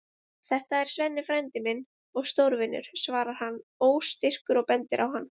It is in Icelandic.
Þetta er Svenni frændi minn og stórvinur, svarar hann óstyrkur og bendir á hann.